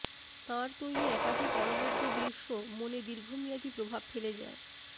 তাঁর তৈরি একাধিক অনবদ্য দৃশ্য মনে দীর্ঘমেয়াদী প্রভাব ফেলে যায়